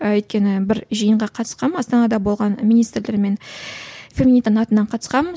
ы өйткені бір жиынға қатысқанмын астанада болған министрлермен феминитаның атынан қатысқанмын